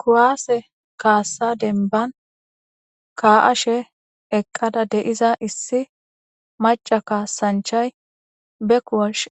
kuwase kasa demban ka'ashe eqada de'iza issi mac'a kasanchay